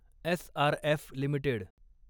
SRF limited